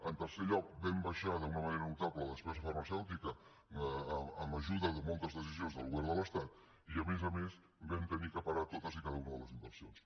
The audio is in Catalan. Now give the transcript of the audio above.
en tercer lloc vam baixar d’una manera notable la despesa farmacèutica amb ajuda de moltes decisions del govern de l’estat i a més a més vam haver de parar totes i cada una de les inversions